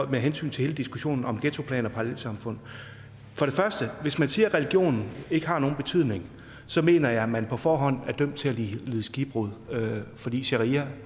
hensyn til hele diskussionen om ghettoplan og parallelsamfund for det første hvis man siger at religionen ikke har nogen betydning så mener jeg at man på forhånd er dømt til at lide skibbrud fordi sharia